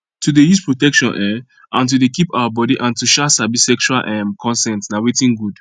to dey use protection um and to dey keep our body and to um sabi sexual um consent na watin good